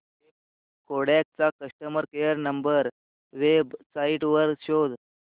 Kodak चा customer care number website वर शोध